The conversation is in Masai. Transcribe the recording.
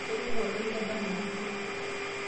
Keng'ou olgali lemtama empuruo.